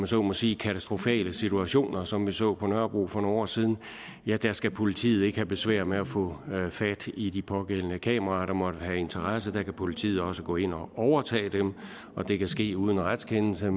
så må sige katastrofale situationer som vi så på nørrebro for nogle år siden ja der skal politiet ikke have besvær med at få fat i de pågældende kameraer der måtte have interesse der kan politiet også gå ind og overtage dem og det kan ske uden retskendelse